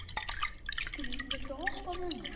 Katrín, viltu hoppa með mér?